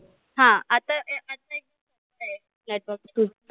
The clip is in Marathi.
हा आता network